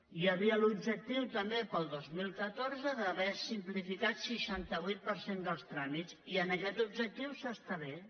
hi havia també l’objectiu per al dos mil catorze d’haver simplificat seixanta vuit per cent dels tràmits i en aquest objectiu s’està bé